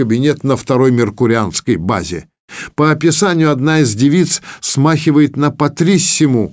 кабинет на второй меркурианский базе по описанию одна из девиц смахивает на патрисиму